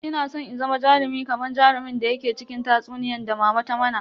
Ina san in zama jarumi kaman jarumin da yake cikin tatsuniyan da mama ta mana.